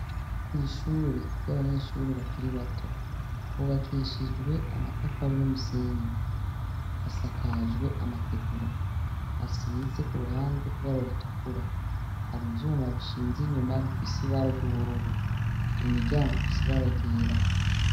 Kw’ishurei, ryabanyeshure bakiri bato , hubakishijwe amatafari n’umusenyi, hasakajwe amategura asize kuruhande ibara ritukura, har’ivyuma bishinz’inyuma bifis’ibara ry’ubururu, imiryango ifis’ibara ryera.